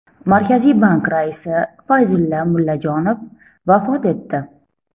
Markaziy bank raisi Fayzulla Mullajonov vafot etdi.